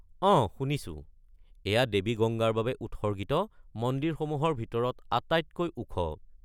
অঁ, শুনিছোঁ। এয়া দেৱী গংগাৰ বাবে উৎসৰ্গিত মন্দিৰসমূহৰ ভিতৰত আটাইতকৈ ওখ।